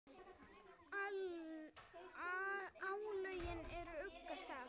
álögin úr ugga stað